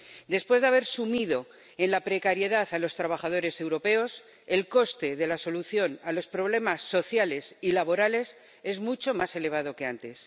Después de haber sumido en la precariedad a los trabajadores europeos, el coste de la solución a los problemas sociales y laborales es mucho más elevado que antes.